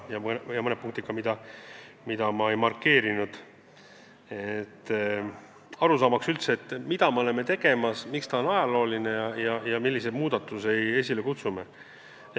Ja räägin ka mõnest punktist, mida ma ei markeerinud – soovin, et oleks arusaadav, mida me oleme tegemas, miks see eelnõu on ajalooline ja millise muudatuse me esile kutsume.